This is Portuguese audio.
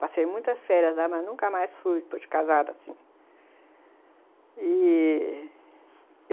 Passei muitas férias lá, mas nunca mais fui de casada assim., e...